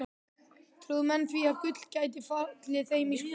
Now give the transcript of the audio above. Trúðu menn því að gull gæti fallið þeim í skaut?